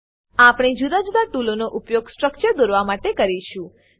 આપણે જુદા જુદા ટુલનો ઉપયોગ સ્ટ્રક્ચરો દોરવા માટે કરીશું